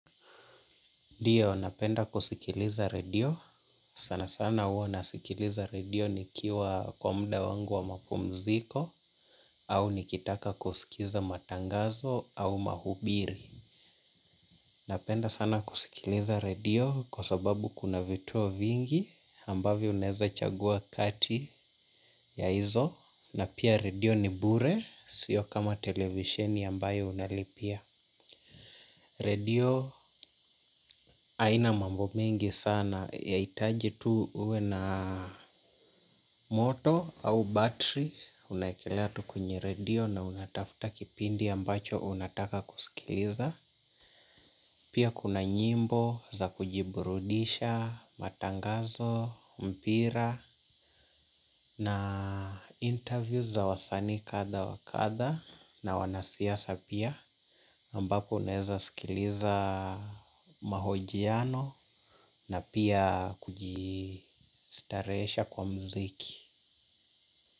Ndio, napenda kusikiliza redio. Sana sana huwa nasikiliza redio nikiwa kwa muda wangu wa mapumziko au nikitaka kusikiliza matangazo au mahubiri. Napenda sana kusikiliza redio kwa sababu kuna vituo vingi ambavyo unaweza chagua kati ya hizo na pia redio ni bure sio kama televisheni ambayo unalipia. Redio haina mambo mingi sana yahitaji tu uwe na moto au battery. Unaekelea tu kwenye redio na unatafuta kipindi ambacho unataka kusikiliza pia kuna nyimbo za kujiburudisha matangazo mpira na interview za wasanii kadha wa kadha na wanasiasa pia ambapo naweza sikiliza mahojiano na pia kujistarehesha kwa muziki.